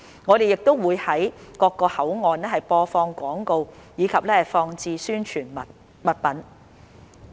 我們亦會於各個口岸播放廣告，以及放置宣傳物品。